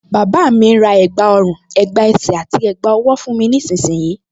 Bàbá mi ń ra ẹ̀gbá ọrùn, ẹ̀gbá ẹsẹ̀ àti ẹ̀gbá ọwọ́ fún mi nísinsìnyí